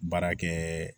Baara kɛ